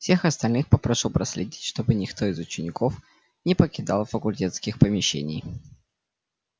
всех остальных попрошу проследить чтобы никто из учеников не покидал факультетских помещений